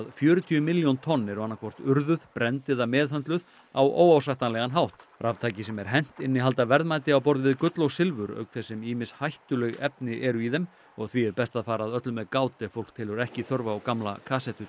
fjörutíu milljón tonn eru annaðhvort urðuð brennd eða meðhöndluð á óásættanlegan hátt raftæki sem er hent innihalda verðmæti á borð við gull og silfur auk þess sem ýmis hættuleg efni eru í þeim og því best að fara að öllu með gát ef fólk telur ekki þörf á gamla